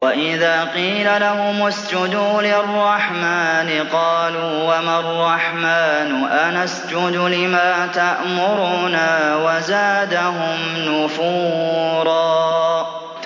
وَإِذَا قِيلَ لَهُمُ اسْجُدُوا لِلرَّحْمَٰنِ قَالُوا وَمَا الرَّحْمَٰنُ أَنَسْجُدُ لِمَا تَأْمُرُنَا وَزَادَهُمْ نُفُورًا ۩